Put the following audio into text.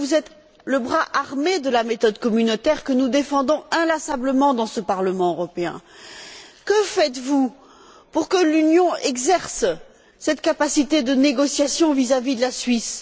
Alors que vous êtes le bras armé de la méthode communautaire, que nous défendons inlassablement dans ce Parlement européen, que faites vous pour que l'Union exerce cette capacité de négociation vis à vis de la Suisse?